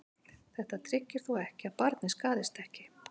Þetta tryggir þó ekki að barnið skaðist ekki.